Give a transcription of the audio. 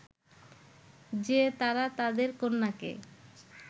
যে তারা তাদের কন্যাকে